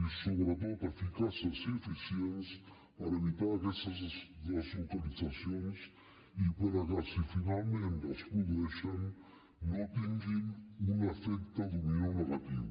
i sobretot eficaces i eficients per evitar aquestes deslocalitzacions i perquè si finalment es produeixen no tinguin un efecte dòmino negatiu